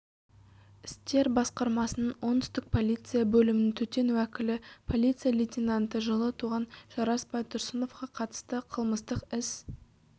істер басқармасының оңтүстік полиция бөлімінің төтен уәкілі полиция лейтенанты жылы туған жарас байтұрсыновқа қатыстықылмыстық іс